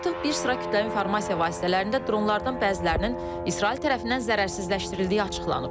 Artıq bir sıra kütləvi informasiya vasitələrində dronlardan bəzilərinin İsrail tərəfindən zərərsizləşdirildiyi açıqlanıb.